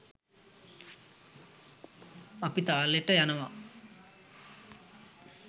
අපි තාලෙට යනවා